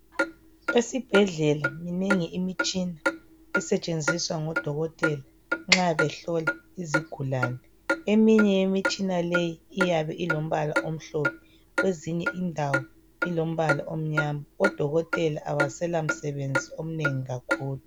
Esibhedlela minengi imitshina esetshenziswa ngodokotela nxa behlola izigulane. Eminye yemitshina leyi iyabe ilombala omhlophe kwezinye indawo ilombala omnyama. Odokotela abasela msebenzi omnengi kakhulu.